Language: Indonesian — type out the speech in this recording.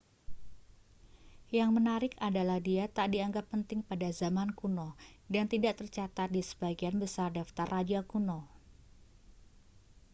yang menarik adalah dia tak dianggap penting pada zaman kuno dan tidak tercatat di sebagian besar daftar raja kuno